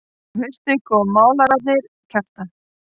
Um haustið koma málararnir Kjartan